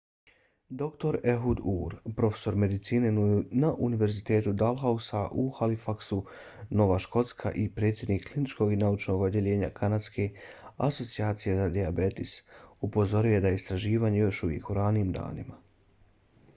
dr ehud ur profesor medicine na univerzitetu dalhousie u halifaxu nova škotska i predsjednik kliničkog i naučnog odjeljenja kanadske asocijacije za dijabetes upozorio je da je istraživanje još uvijek u ranim danima